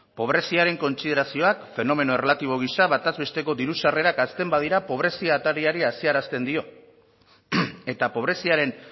pobreziaren kontsiderazioak fenomeno erlatibo gisa bataz besteko diru sarrerak hazten badira pobrezia atariari haziarazten dio eta pobreziaren